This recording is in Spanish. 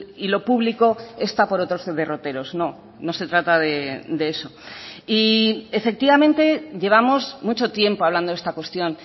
y lo público está por otros derroteros no no se trata de eso y efectivamente llevamos mucho tiempo hablando de esta cuestión